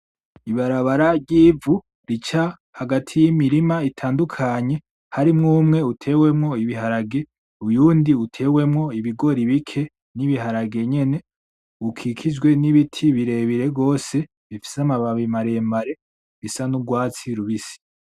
Ibarabara ry'ivu rica hagati yimirima itandukanye harimo umwe utewemo ibiharage uyundi utewemo ibigori bike nibiharage nyene, rukikijwe nibiti birebire gose bifise amababi maremare rufise n'urwatsi rubisi.